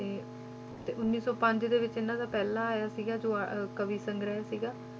ਤੇ ਤੇ ਉੱਨੀ ਸੌ ਪੰਜ ਦੇ ਵਿੱਚ ਇਹਨਾਂ ਦਾ ਪਹਿਲਾ ਆਇਆ ਸੀਗਾ ਜੋ ਆ~ ਕਵੀ ਸੰਗ੍ਰਹਿ ਸੀਗਾ।